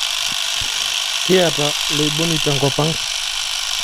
Kiyata loiboni tenkopang